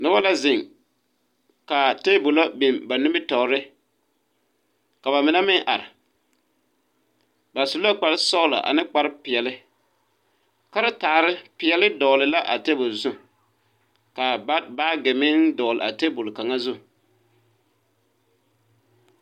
Noba la zeŋ ka tabolɔ biŋ ba nimitɔɔre, ka ba mine meŋ are, ba su la kpare sɔglo ane kpare peɛle, karetare peɛle dɔgle la a tabol zu ka baage meŋ dɔgle a tabol kakaŋa zu.